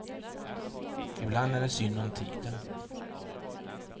Ibland är det synd om tiden.